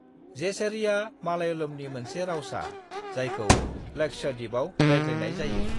जेसेरीआ मालयालमनि मोनसे रावसा जायखौ लक्षद्वीपआव रायज्लायनाय जायो।